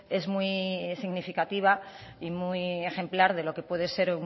es muy significativa y muy ejemplar de lo que puede ser